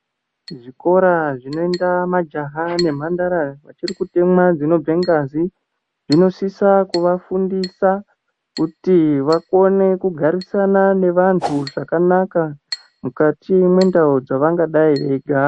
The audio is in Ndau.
Zvikora zvinoenda majaha nemhandara achiri kutemwa dzinobve ngazi zvinosisa kuvafundisa kuti vakone kugarisana nevantu zvakanaka mukati mwendau dzevangadai veigara.